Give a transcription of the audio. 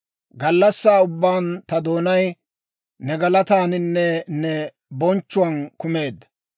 Gallassaa ubbaan ta doonay, ne galataaninne ne bonchchuwaan kumeedda.